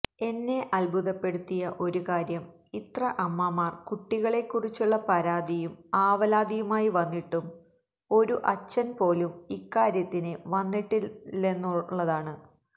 എന്നെ അദ്ഭുതപ്പെടുത്തിയ ഒരു കാര്യം ഇത്ര അമ്മമാർ കുട്ടികളെക്കുറിച്ചുള്ള പരാതിയും ആവലാതിയുമായി വന്നിട്ടും ഒരു അച്ഛൻപ്പോലും ഇക്കാര്യത്തിന് വന്നിട്ടില്ലെന്നുള്ളതാണ്